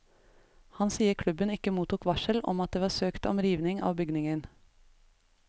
Han sier klubben ikke mottok varsel om at det var søkt om riving av bygningen.